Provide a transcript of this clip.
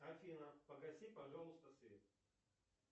афина погаси пожалуйста свет